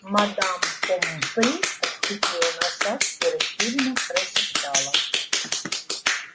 мадам помфри отступила на шаг и растерянно прошептала